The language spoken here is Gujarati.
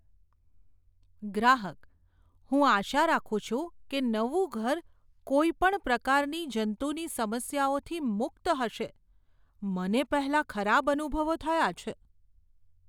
ગ્રાહકઃ "હું આશા રાખું છું કે નવું ઘર કોઈપણ પ્રકારની જંતુની સમસ્યાઓથી મુક્ત હશે, મને પહેલાં ખરાબ અનુભવો થયા છે."